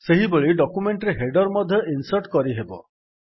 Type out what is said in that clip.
ସେହିଭଳି ଡକ୍ୟୁମେଣ୍ଟ୍ ରେ ହେଡର୍ ମଧ୍ୟ ଇନ୍ସର୍ଟ କରିହେବ